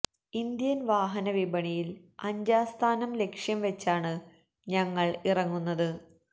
Indian വാഹന വിപണിയില് അഞ്ചാം സ്ഥാനം ലക്ഷ്യം വെച്ചാണ് ഞങ്ങള് ഇറങ്ങുന്നത്